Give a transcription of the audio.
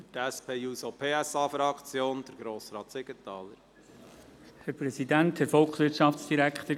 Für die SP-JUSO-PSA-Fraktion: Grossrat Siegenthaler.